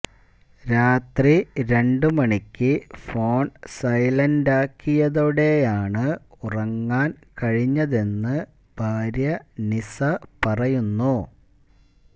രാത്രി രണ്ട് മണിക്ക് ഫോൺ സൈലന്റാക്കിയതോടെയാണ് ഉറങ്ങാൻ കഴിഞ്ഞതെന്ന് ഭാര്യ നിസ പറയുന്നു